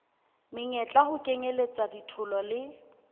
meyetla ho kenyelletswa ditholo le